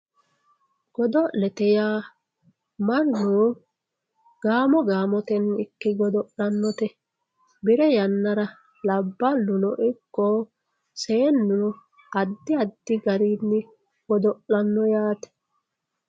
godo'lete yaa mannu gaamo gaamotenni ikke god'lannote bire yannara labballunno ikko seenu addi addi garini godo'lanno yaate.